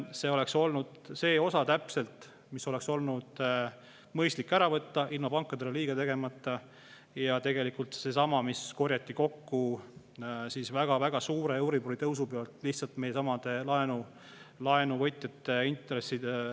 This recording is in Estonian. See oleks olnud täpselt see osa, mis oleks olnud mõistlik ära võtta, ilma pankadele liiga tegemata, ja tegelikult seesama, mis korjati kokku väga-väga suure euribori tõusu pealt lihtsalt niimoodi, et laenuvõtjad maksid intresse.